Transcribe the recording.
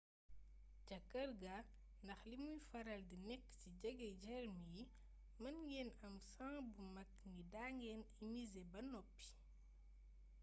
ca kër ga ndax limuy faral di nekk ci jege germ yi mën ngeen am sans bu mag ni da ngeen immizé ba noppi